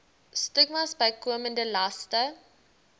stigmas bykomende laste